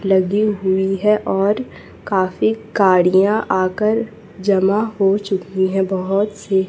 लगी हुई है और काफी गाड़ियां आकर जमा हो चुकी है बहोत सी--